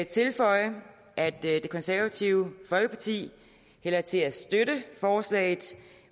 tilføje at det konservative folkeparti hælder til at støtte forslaget